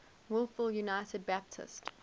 wolfville united baptist